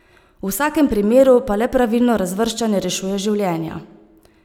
V vsakem primeru pa le pravilno razvrščanje rešuje življenja.